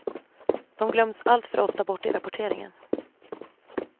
De glöms alltför ofta bort i rapporteringen.